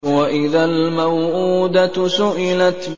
وَإِذَا الْمَوْءُودَةُ سُئِلَتْ